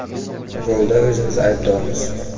Golda o‘zimiz aybdormiz.